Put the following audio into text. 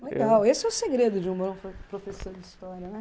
Legal, esse é o segredo de um bom pro professor de história, né?